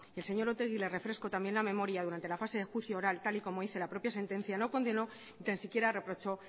el señor otegi le refresco también la memoria durante la fase de juicio oral tal y como dice la propia sentencia no condenó ni tan siquiera reprochó